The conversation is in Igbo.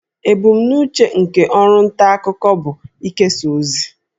Ebumnuche nke ọrụ nta akụkọ bụ ikesa ozi